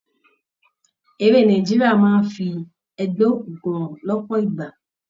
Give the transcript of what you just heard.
Eré Nàìjíríà máa ń fi ẹgbẹ́ òkùnkùn hàn lọ́pọ̀ ìgbà.